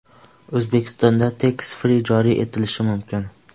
O‘zbekistonda tax-free joriy etilishi mumkin.